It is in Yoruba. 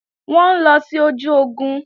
Wọ́n ń lọ sí ojú ogun